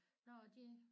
Nåh de